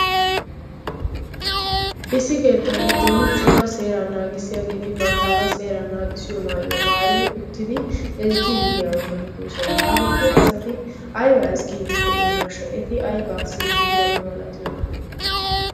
Issi keettan cora seeraa naagissiyageeti banttaagaa seeraa naagissiyo maayuwa maayidi uttidi ezggiiddi diyaba malatoosona. Hageeti asati aybaa ezggiiddi de"iyonaashsha. Eti aybaa siyiiddi diyaba malatiyonaa.